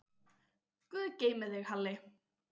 Guð geymi þig, Halli.